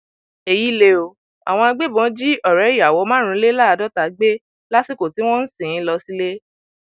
èyí lè o àwọn agbébọn jí ọrẹ ìyàwó márùnléláàádọta gbé lásìkò tí wọn ń sìn ín lọ sílé